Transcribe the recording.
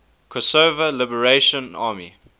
kosovo liberation army